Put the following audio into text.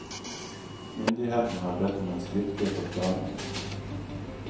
Myndighetene har bedt om en skriftlig forklaring.